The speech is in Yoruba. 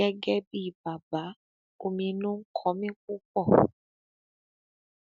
gẹgẹ bíi bàbá ominú ń kọ mi púpọ